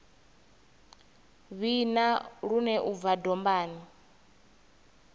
vhina lune u bva dombani